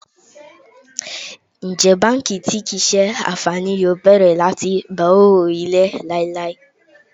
Njẹ banki ti kii ṣe anfani yoo bẹrẹ lati gba owo ele lailai?